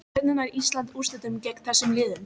Hvernig nær Ísland úrslitum gegn þessum liðum?